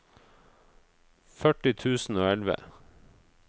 førti tusen og elleve